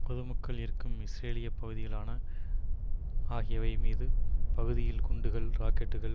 பொதுமக்கள் இருக்கும் இஸ்ரேலிய பகுதிகளான ஆகியவை மீது பகுதியில் குண்டுகள் ராக்கெட்டுக்கள்